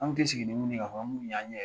An tɛ sigi ni minnu ye k'a fɔ an b'olu ye an ɲɛ